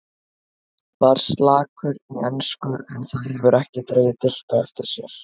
Var slakur í ensku en það hefur ekki dregið dilk á eftir sér.